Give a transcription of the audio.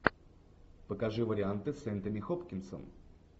покажи варианты с энтони хопкинсом